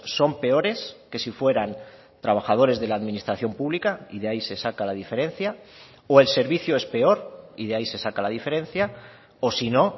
son peores que si fueran trabajadores de la administración pública y de ahí se saca la diferencia o el servicio es peor y de ahí se saca la diferencia o si no